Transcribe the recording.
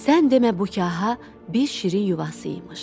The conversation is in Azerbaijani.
Sən demə bu kaha bir şirin yuvası imiş.